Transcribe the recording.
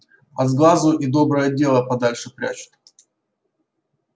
от сглазу и доброе дело подальше прячут